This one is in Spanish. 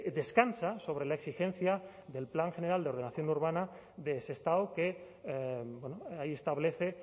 descansa sobre la exigencia del plan general de ordenación urbana de sestao que establece